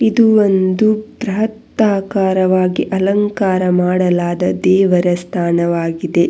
ಇದು ಒಂದು ಬ್ರಹತಾಕಾರವಾಗಿ ಅಲಂಕಾರ ಮಾಡಲಾದ ದೇವರ ಸ್ಥಾನವಾಗಿದೆ.